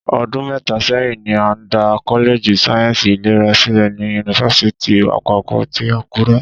Ọdún mẹ́ta sẹ́yìn ni a dá kọ́lẹ́ẹ̀jì sáyẹ́ǹsì ìlera sílẹ̀ ni yunifásítì àpapọ̀ ti Àkúrẹ́